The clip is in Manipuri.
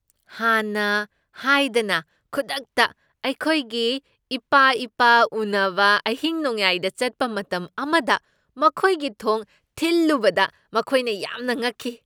ꯍꯥꯟꯅ ꯍꯥꯏꯗꯅ ꯈꯨꯗꯛꯇ ꯑꯩꯈꯣꯏꯒꯤ ꯏꯄꯥ ꯏꯄꯥ ꯎꯅꯕ ꯑꯍꯤꯡ ꯅꯣꯡꯌꯥꯏꯗ ꯆꯠꯄ ꯃꯇꯝ ꯑꯃꯗ ꯃꯈꯣꯏꯒꯤ ꯊꯣꯡ ꯊꯤꯜꯂꯨꯕꯗ ꯃꯈꯣꯏꯅ ꯌꯥꯝꯅ ꯉꯛꯈꯤ꯫